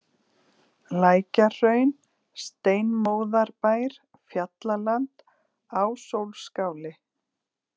Lækjahraun, Steinmóðarbær, Fjallaland, Ásólfsskáli